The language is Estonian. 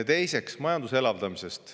Teiseks majanduse elavdamisest.